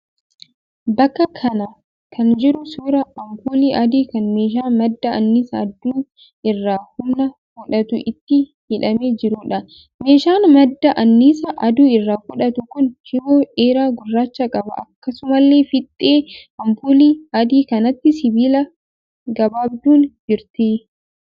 Bakka kana kan jiru suuraa ampuulii adii kan meeshaa madda annisaa aduu irraa humna fudhatu itti hidhamee jiruudha. Meeshaan madda annisaa aduu irraa fudhatu kun shiboo dheeraa gurraacha qaba. Akkasumallee fiixee ampuulii adii kanaatti sibiilli gabaabduun jirti.